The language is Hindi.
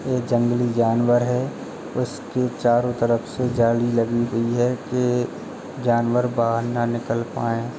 ये जंगली जानवर है। उसके चारों तरफ से जाली लगी हुई है के जानवर बाहर न निकल पाए।